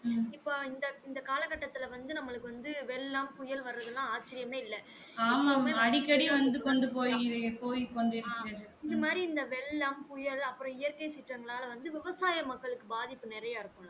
இப்போ இந்த இந்த காலகட்டத்துல வந்து நம்பளுக்கு வந்து வெள்ளம் புயல் வரதுலாம் ஆச்சிரியம்மே இல்ல ஆம் இந்த மாறி இந்த வெள்ளம் புயல் அப்பறம் இயற்கை சீற்றங்களால வந்து விவசாய மக்களுக்கு பாதிப்பு நெறைய இருக்கு